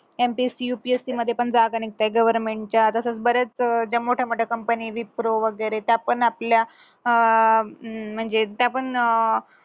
त्यांची UPSC मध्ये पण जागा निघताहेत government च्या तसेच बऱ्याच अं ज्या मोठ्या मोठ्या company wipro वगैरे त्या पण आपल्या अं म्हणजे त्या पण अं